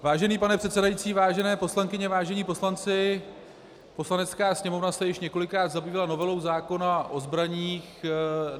Vážený pane předsedající, vážené poslankyně, vážení poslanci, Poslanecká sněmovna se již několikrát zabývala novelou zákona o zbraních.